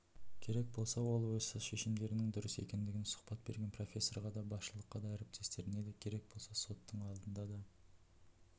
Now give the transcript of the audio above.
керек болса ол осы шешімдерінің дұрыс екенін сұхбат берген профессорға да басшылыққа да әріптестеріне керек болса соттың алдында